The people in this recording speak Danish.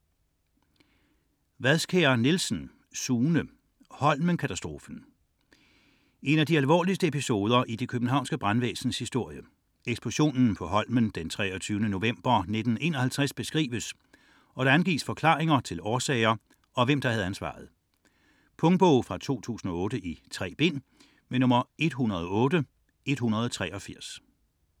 62.63 Wadskjær Nielsen, Sune: Holmenkatastrofen En af de alvorligste episoder i det Københavnske brandvæsens historie, eksplosionen på Holmen den 23. november 1951 beskrives og der angives forklaringer til årsager og hvem der havde ansvaret. Punktbog 108183 2008. 3 bind.